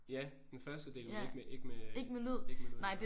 Ja den første del men ikke med ikke med øh ikke med lyd endnu